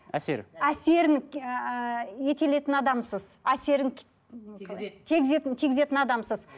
әсері әсерін адамсыз әсерін тигізеді тигізетін тигізетін адамсыз